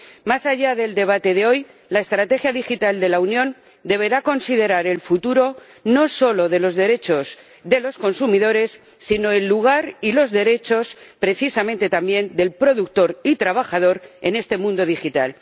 Más allá del debate de hoy, la estrategia digital de la Unión deberá considerar el futuro no solo de los derechos de los consumidores sino, precisamente también, el lugar y los derechos del productor y trabajador en este mundo digital.